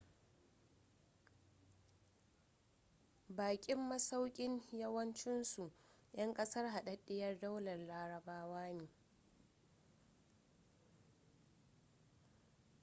bakin masaukin yawancinsu 'yan kasar hadaddiyar daular larabawa ne